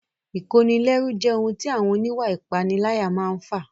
Ìkónilẹ́rú jẹ́ ohun tí àwọn oníwà ìpániláyà máa n fà